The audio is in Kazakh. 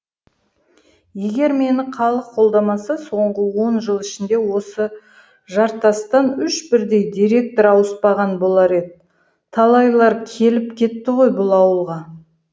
егер мені халық қолдамаса соңғы он жыл ішінде осы жартастан үш бірдей директор ауыспаған болар еді талайлар келіп кетті ғой бұл ауылға